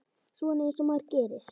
Svona eins og maður gerir.